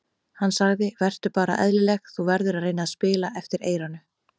Hann sagði: Vertu bara eðlileg, þú verður að reyna að spila eftir eyranu.